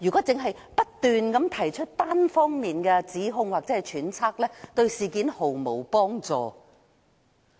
只不斷提出單方面的指控或揣測，對事件毫無幫助"。